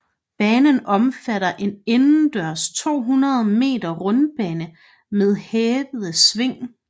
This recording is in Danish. Banen omfatter en indendørs 200 meter rundbane med hævede sving